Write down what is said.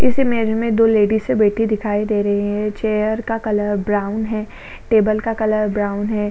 इस इमेज में दो लेडीज बैठी दिखाई दे रही है चेयर का कलर ब्राउन है टेबल का कलर ब्राउन है।